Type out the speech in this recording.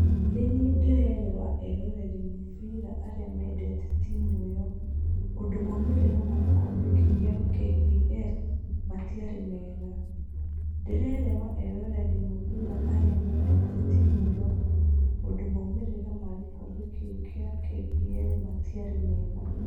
Nĩ nNĩ ndĩrerewa eroreri mũvira arĩa mendete timu ĩo ũndũ maumĩrĩra magĩkombe kiu kia KPL matiarĩ mega. dĩrerewa eroreri mũvira arĩa mendete timu ĩo ũndũ maumĩrĩra magĩkombe kiu kia KPL matiarĩ mega.